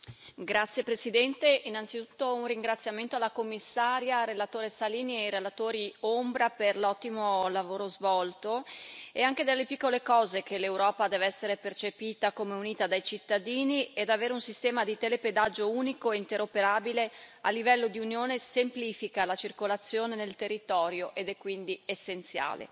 Signor Presidente, onorevoli colleghi, innanzitutto un ringraziamento alla signora Commissario, al relatore Salini e ai relatori ombra per l'ottimo lavoro svolto. È anche dalle piccole cose che l'Europa deve essere percepita come unita dai cittadini, ed avere un sistema di telepedaggio unico e interoperabile a livello di Unione semplifica la circolazione nel territorio ed è quindi essenziale.